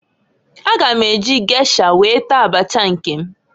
A ga m eji gesha wee taa abacha nke m.